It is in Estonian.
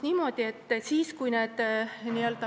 Aga edasi?